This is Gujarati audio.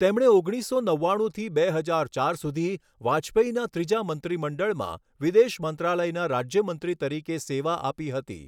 તેમણે ગણીસસો નવ્વાણુંથી બે હજાર ચાર સુધી વાજપેયીના ત્રીજા મંત્રીમંડળમાં વિદેશ મંત્રાલયના રાજ્યમંત્રી તરીકે સેવા આપી હતી.